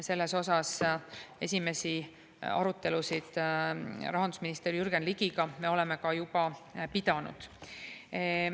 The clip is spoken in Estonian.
Selle üle esimesi arutelusid rahandusminister Jürgen Ligiga me oleme ka juba pidanud.